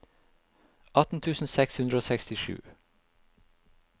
atten tusen seks hundre og sekstisju